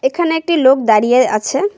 এখানে একটি লোক দাঁড়িয়ে আছে।